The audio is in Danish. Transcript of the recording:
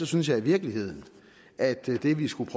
synes jeg i virkeligheden at det vi skal